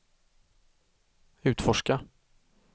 utforska